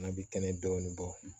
An bɛ kɛnɛ dɔɔnin bɔ